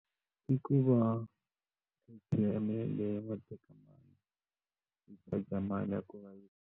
I ku va yi charger mali ya ku .